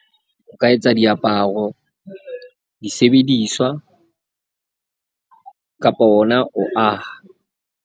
O ka etsa diaparo, disebediswa kapa ona ho aha.